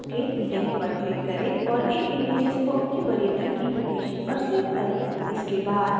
tutorial को रोकें link पर click करें और इन images को अपनी वरीयता की location पर सेव करें